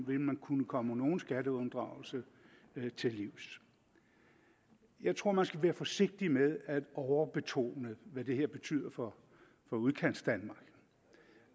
vil man kunne komme nogen skatteunddragelse til livs jeg tror man skal være forsigtig med at overbetone hvad det her betyder for for udkantsdanmark